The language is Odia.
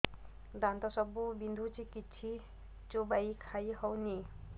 ଦାନ୍ତ ସବୁ ବିନ୍ଧୁଛି କିଛି ଚୋବେଇ ଖାଇ ହଉନି